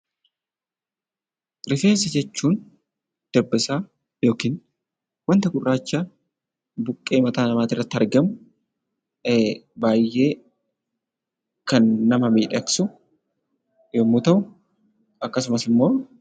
Rifeensa jechuun dabbasaa yookiin wanta gurraacha mataa namaa irratti argamuudha. Innis baayyee kan nama miidhagsu ta'uu isaati.